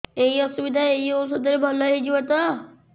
ଏଇ ଅସୁବିଧା ଏଇ ଔଷଧ ରେ ଭଲ ହେଇଯିବ ତ